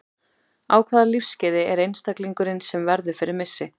Á hvaða lífsskeiði er einstaklingurinn sem verður fyrir missi?